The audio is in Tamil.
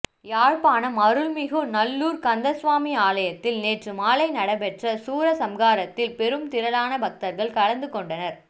யாழ்ப்பாணம் அருள்மிகு நல்லூர் கந்தசுவாமி ஆலயத்தில நேற்றுமாலை நடைபெற்ற சூர சம்காரத்தில் பெரும்திரளான பக்தர்கள் கலந்துகொண்டனர்